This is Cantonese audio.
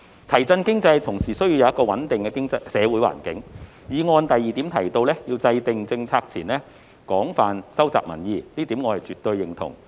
提振經濟同時需要一個穩定的社會環境，議案第二部分提到，在制訂政策前，要"廣泛收集民意"，這一點我絕對認同。